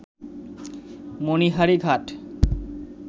মণিহারী ঘাট